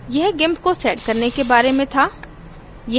यह gimp को set करने के बारे में था